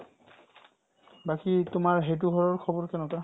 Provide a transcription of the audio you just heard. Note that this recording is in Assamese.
বাকি তোমাৰ সেইটো ঘৰৰ খবৰ কেনেকুৱা ?